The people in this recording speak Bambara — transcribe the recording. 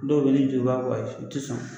Dɔw bɛ ye ni a tɛ sɔn.